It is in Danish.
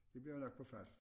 Det bliver nok på Falster